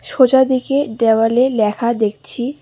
ছোজা দিকে দেওয়ালে ল্যাখা দেখছি।